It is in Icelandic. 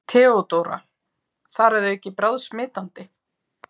THEODÓRA: Þar að auki bráðsmitandi!